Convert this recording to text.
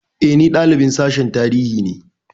E, ni dalibin Sashen Tarihi ne.